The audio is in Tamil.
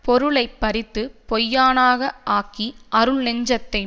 பொருளை பறித்து பொய்யனாக ஆக்கி அருள் நெஞ்சத்தைய